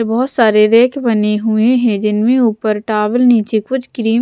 बहुत सारे रैक बने हुए हैं जिनमें ऊपर टावल नीचे कुछ क्रीम --